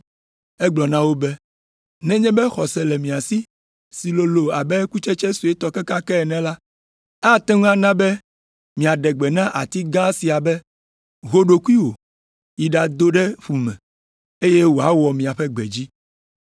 Egblɔ na wo be, “Nenye be xɔse le mia si lolo abe kutsetse suetɔ kekeake ene la, ate ŋu ana be miaɖe gbe na ati gã sia be, ‘Ho ɖokuiwò yi ɖado ɖe ƒu me,’ eye wòawɔ miaƒe gbe dzi.